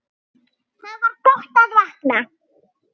Það var gott að vakna.